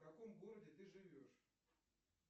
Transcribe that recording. в каком городе ты живешь